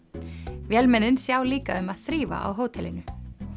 vélmennin sjá líka um að þrífa á hótelinu